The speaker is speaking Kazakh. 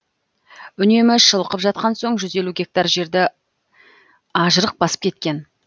үнемі шылқып жатқан соң жүз елу гектар жерді ажырық басып кеткен